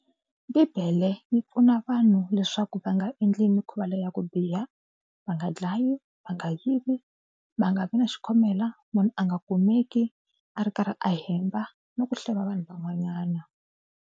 Bibele yi pfuna vanhu leswaku va nga endli mikhuva leyi ya ku biha, va nga dlayi, va nga yivi, va nga vi na xikhomela, munhu a nga kumeki a ri karhi a hemba na ku hleva vanhu van'wanyana.